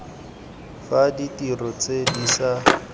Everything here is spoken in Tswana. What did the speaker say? fa ditiro tse di ša